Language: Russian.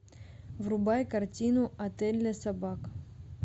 врубай картину отель для собак